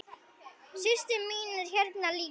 Systir mín er hérna líka.